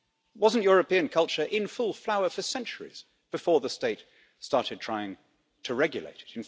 Wasn't European culture in full flower for centuries before the state started trying to regulate it?